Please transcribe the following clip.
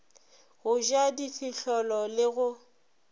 go ja difihlolo le go